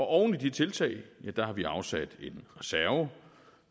oven i de tiltag har vi afsat en reserve